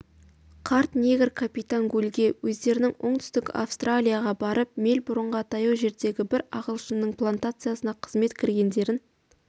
қарт негр капитан гульге өздерінің оңтүстік австралияға барып мельбурнға таяу жердегі бір ағылшынның плантациясына қызметке кіргендерін